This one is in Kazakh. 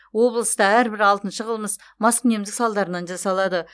облыста әрбір алтыншы қылмыс маскүнемдік салдарынан жасалады